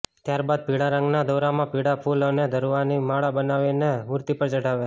ત્યારબાદ પીળા રંગના દોરામાં પીળા ફૂલ અને દુર્વાની માળા બનાવીને મૂર્તિ પર ચઢાવે